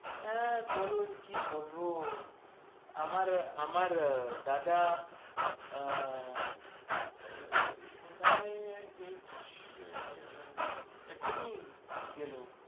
আঁ বলুন, কি বলব আমার আমার দাদা আহ কোথায় গেছিস আহ এক্ষুনি গেল।